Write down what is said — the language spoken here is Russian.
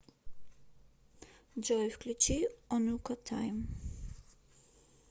джой включи онука тайм